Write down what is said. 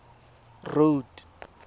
road